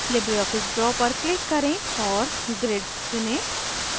libreoffice draw पर click करें और grid चुनें